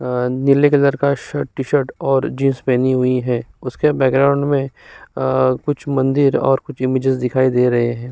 आ नीले कलर का shirt T-shirt और जीन्स पहनी हुई हैं। उसके बॅकग्राउंड में आ कुछ मंदिर और कुछ इमेजिज़ दिखाई दे रहे हैं।